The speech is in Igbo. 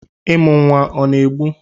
ịmụ nwa ọ na-egbu?